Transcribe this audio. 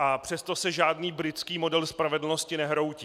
A přesto se žádný britský model spravedlnosti nehroutí.